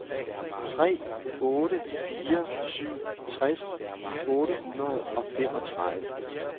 tre otte fire syv tres otte hundrede og femogtredive